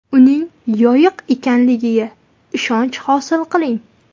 Uning yoqiq ekanligiga ishonch hosil qiling.